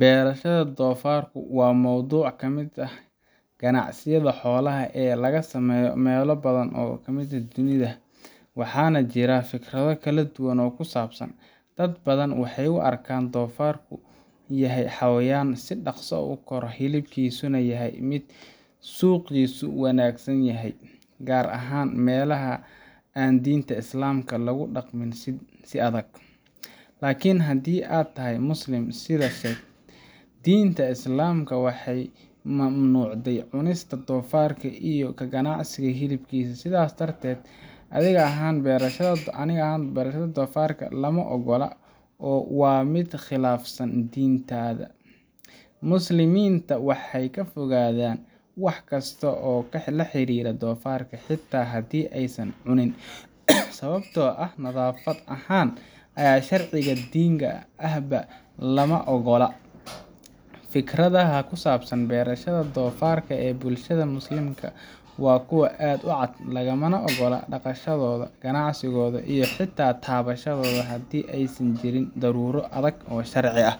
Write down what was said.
Beerashada doofarka waa mowduuc ka mid ah ganacsiyada xoolaha ee laga sameeyo meelo badan oo dunida ka mid ah, waxaana jira fikrado kala duwan oo ku saabsan. Dad badan waxay u arkaan in doofarku yahay xayawaan si dhaqso ah u kora, hilibkiisuna yahay mid suuqiisu wanaagsan yahay, gaar ahaan meelaha aan diinta Islaamka lagu dhaqmin si adag. Laakiin haddii aad tahay Muslim, sida , diinta Islaamka way mamnuucday cunista doofarka iyo ka ganacsiga hilibkiisa. Sidaas darteed, adiga ahaan beerashada doofarka lama oggola oo waa mid khilaafsan diintaada. Muslimiinta waxay ka fogaadaan wax kasta oo la xiriira doofarka, xitaa haddii aysan cunin, sababtoo ah nadaafad ahaan iyo sharciga diiniga ahba lama oggola. Fikradaha ku saabsan beerashada doofarka ee bulshada Muslimka waa kuwo aad u cad — lagama oggola dhaqashadooda, ganacsigooda, iyo xitaa taabashadooda haddii aysan jirin daruuro adag oo sharci ah.